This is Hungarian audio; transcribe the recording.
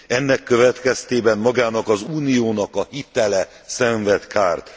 Ennek következtében magának az Uniónak a hitele szenved kárt.